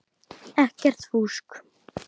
Ekkert fúsk.